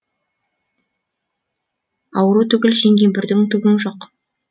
ауру түгіл сен кемпірдің түгің жоқ